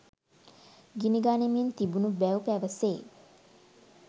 ගිනිගනිමින් තිබුණු බැව් පැවසේ